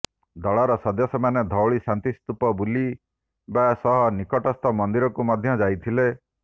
ଦଳର ସଦସ୍ୟମାନେ ଧଉଳି ଶାନ୍ତିସ୍ତୂପ ବୁଲିବା ସହ ନିକଟସ୍ଥ ମନ୍ଦିରକୁ ମଧ୍ୟ ଯାଇଥିଲେ